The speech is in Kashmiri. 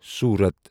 سورت